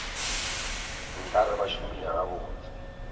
nka re ba šomile gabotse